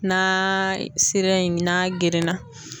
Naaaa sira in n'a gerenna.